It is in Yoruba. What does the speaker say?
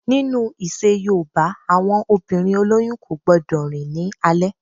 Nínu ìṣe yoòbá, àwọn obìnrin olóyún kò gbọdọ̀ rìn ní alẹ́